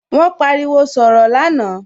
Wón pariwo sọ̀rọ̀ lánàá